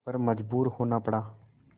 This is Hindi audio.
पर मजबूर होना पड़ा